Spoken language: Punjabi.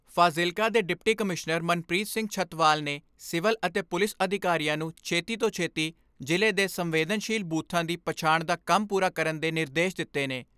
ਫਾਜ਼ਿਲਕਾ ਦੇ ਡਿਪਟੀ ਕਮਿਸ਼ਨਰ ਮਨਪ੍ਰੀਤ ਸਿੰਘ ਛੱਤਵਾਲ ਨੇ ਸਿਵਲ ਅਤੇ ਪੁਲਿਸ ਅਧਿਕਾਰੀਆਂ ਨੂੰ ਛੇਤੀ ਤੋਂ ਛੇਤੀ ਜ਼ਿਲ੍ਹੇ ਦੇ ਸੰਵੇਦਨਸ਼ੀਲ ਬੂਥਾਂ ਦੀ ਪਛਾਣ ਦਾ ਕੰਮ ਪੂਰਾ ਕਰਨ ਦੇ ਨਿਰਦੇਸ਼ ਦਿੱਤੇ ਨੇ।